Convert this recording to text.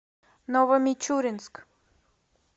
новомичуринск